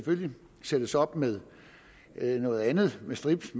sættes op med noget andet med strips